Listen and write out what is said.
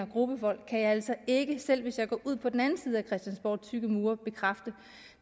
gruppevold kan jeg altså ikke selv hvis jeg går ud på den anden side af christiansborgs tykke mure bekræfte